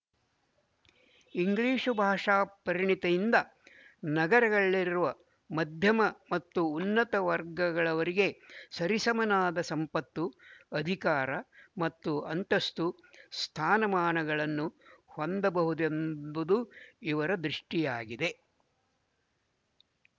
English ಭಾಷಾ ಪರಿಣತಿಯಿಂದ ನಗರಗಳಲ್ಲಿರುವ ಮಧ್ಯಮ ಮತ್ತು ಉನ್ನತ ವರ್ಗಗಳವರಿಗೆ ಸರಿಸಮನಾದ ಸಂಪತ್ತು ಅಧಿಕಾರ ಮತ್ತು ಅಂತಸ್ತು ಸ್ಥಾನಮಾನಗಳನ್ನು ಹೊಂದಬಹುದೆಂಬುದು ಇವರ ದೃಷ್ಟಿಯಾಗಿದೆ